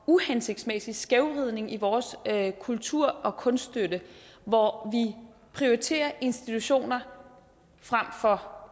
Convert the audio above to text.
uhensigtsmæssig skævvridning i vores kultur og kunststøtte hvor vi prioriterer institutioner frem for